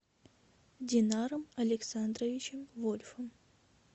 динаром александровичем вольфом